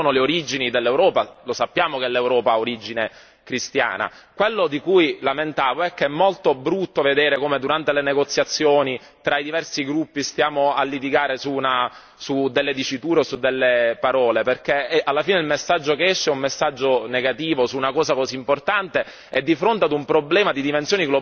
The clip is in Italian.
Quello di cui mi lamentavo è che è molto brutto vedere come durante le negoziazioni tra i diversi gruppi stiamo a litigare su delle diciture o su delle parole, perché alla fine il messaggio che esce è un messaggio negativo su una cosa così importante e di fronte a un problema di dimensioni globali, perché non è soltanto Al Shabaab, stiamo parlando dell'Isis, stiamo parlando di Boko Haram.